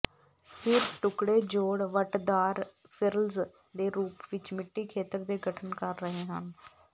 ਫਿਰ ਟੁਕੜੇ ਜੋੜ ਵੱਟਦਾਰ ਿਫਰ੍ਲਜ਼ ਦੇ ਰੂਪ ਵਿੱਚ ਮਿੱਟੀ ਖੇਤਰ ਦੇ ਗਠਨ ਕਰ ਰਹੇ ਹਨ